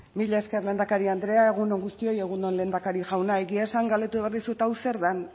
mila esker lehendakari andrea egun on guztioi egun on lehendakari jauna egia esan galdetu behar dizut hau zer dan